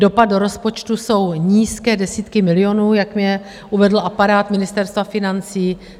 Dopad do rozpočtu jsou nízké desítky milionů, jak mi uvedl aparát Ministerstva financí.